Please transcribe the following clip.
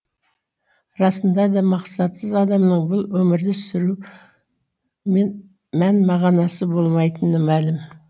расында да мақсатсыз адамның бұл өмірді сүрумен мән мағанасы болмайтыны мәлім